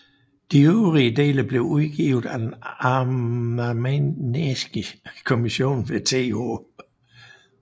De øvrige dele blev udgivet af Den arnamagnæanske Commission ved Th